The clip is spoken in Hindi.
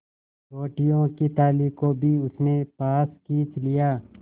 रोटियों की थाली को भी उसने पास खींच लिया